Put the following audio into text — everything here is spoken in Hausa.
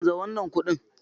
Canza wannan kuɗin.